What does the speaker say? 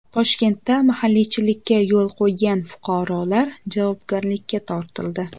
Toshkentda mahalliychilikka yo‘l qo‘ygan fuqarolar javobgarlikka tortildi .